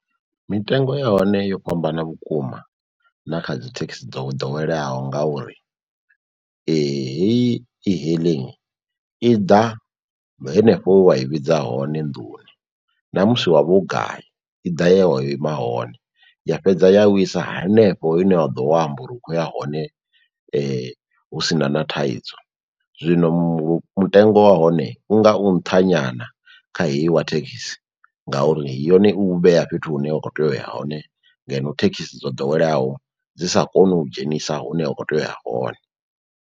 Mitengo ya hone yo fhambana vhukuma na kha dzi thekhisi dzo ḓoweleaho ngauri heyi e-hailing i ḓa henefho he wa i vhidza hone nḓuni, namusi wavha u gai i ḓa ye wa ima hone ya fhedza ya u isa hanefho ine wa ḓo vha wo amba uri u khou ya hone husina na thaidzo. Zwino mu mutengo wa hone hone u nga u nṱha nyana kha heyi wa thekhisi ngauri yone u vhea fhethu hune wa kho tea uya hone ngeno thekhisi dzo ḓoweleaho dzi sa koni u dzhenisa hune wa kho tea uya hone.